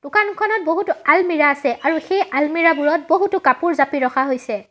দোকানখনত বহুতো আলমিৰা আছে আৰু সেই আলমিৰা বোৰত বহুতো কাপোৰ জাপি ৰখা হৈছে।